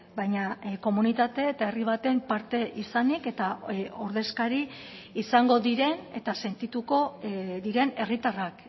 baina komunitate eta herri baten parte izanik eta ordezkari izango diren eta sentituko diren herritarrak